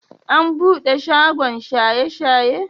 An bude shagon shaye-shaye?